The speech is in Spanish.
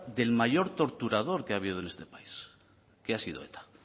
del mayor torturador que ha habido en este país que ha sido eta